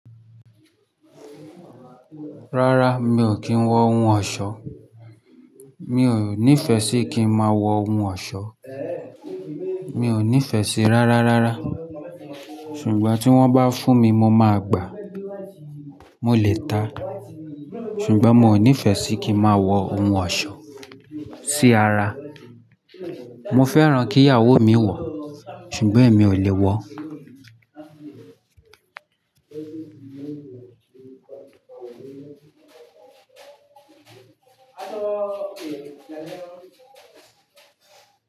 Rárá mi ò kì wo ohun osó. Mi ò nífẹ̀ẹ́ sí kí máa wọ ohun ọ̀ṣọ́. Mi ò nífẹ̀ẹ́ sí rárá rárá. Ṣùgbọ́n tí wọ́n bá fún mi mo máa gbàá. Mo lè ta. Ṣùgbọ́n mo nífẹ̀ẹ́ sí kí máa wọ ohun ọ̀ṣọ́ sí ara. Mo fẹ́ràn kí ìyàwó mi wọ̀, ṣùgbọ́n èmi ò lè wọ.